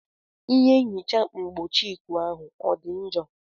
Ihe nhicha mgbochieikuu ahụ ọ dị njọ?